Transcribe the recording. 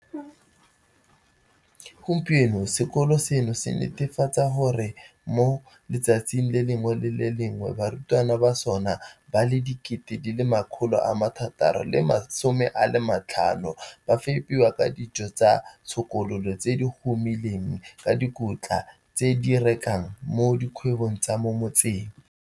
Gompieno sekolo seno se netefatsa gore mo letsatsing le lengwe le le lengwe barutwana ba sona ba le 600 050 ba fepiwa ka dijo tsa tshokololo tse di humileng ka dikotla tse se di rekang mo dikgwebong tsa mo motseng.